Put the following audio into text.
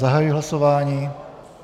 Zahajuji hlasování.